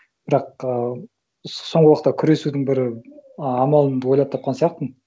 бірақ ыыы соңғы уақытта күресудің бір амалымды ойлап тапқан сияқтымын